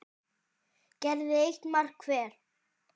gerði eitt mark hver.